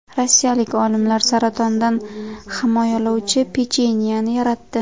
Rossiyalik olimlar saratondan himoyalovchi pechenyeni yaratdi.